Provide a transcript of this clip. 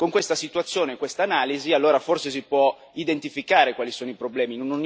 Con questa situazione e quest'analisi forse si può identificare quali sono i problemi.